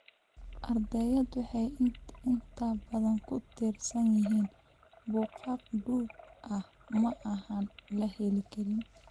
Ardayda waxay inta badan ku tiirsan yihiin buugaag duug ah ama aan la heli karin.